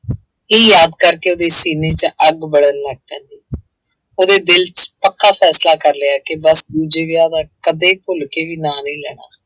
ਇਹ ਯਾਦ ਕਰਕੇ ਉਹਦੇ ਸੀਨੇ ਚ ਅੱਗ ਬਲਣ ਲੱਗ ਪੈਂਦੀ ਉਹਦੇ ਦਿਲ ਚ ਪੱਕਾ ਫੈਸਲਾ ਕਰ ਲਿਆ ਕਿ ਬਸ ਦੂਜੇ ਵਿਆਹ ਦਾ ਕਦੇ ਭੁੱਲ ਕੇ ਵੀ ਨਾਂ ਨਹੀਂ ਲੈਣਾ।